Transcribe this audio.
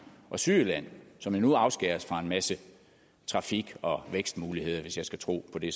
og sydjylland som jo nu afskæres fra en masse trafik og vækstmuligheder hvis jeg skal tro på det